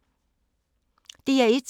DR1